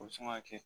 O bɛ sin ka kɛ